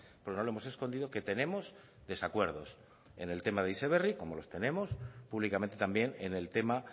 porque no lo hemos escondido que tenemos desacuerdos en el tema de heziberri como los tenemos públicamente también en el tema